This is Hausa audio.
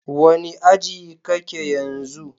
Wani aji ka ke yanzu?